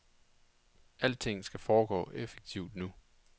Alting skal foregå effektivt nu.